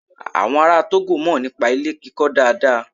Àwọn ará Tógò mọ̀ nípa ilé kíkọ dáadáa.